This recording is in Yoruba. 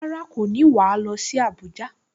Rárá, kò ní wà á lọ sí Abuja